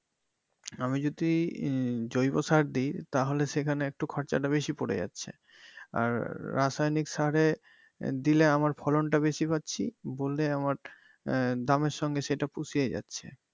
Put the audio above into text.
আমি যদি উম জৈব সার দেই তাহলে সেখানে একটু খরচা টা বেশি পরে যাচ্ছে আর রাসায়নিক সারে আহ দিলে আমার ফলন টা বেশি পাচ্ছি বলে আহ দামের সঙ্গে সেটা পুষিয়ে যাচ্ছে।